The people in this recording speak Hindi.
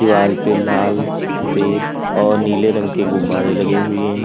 दीवाल पे लाल सफेद और नीले रंग के गुब्बारे लगे हुए हैं।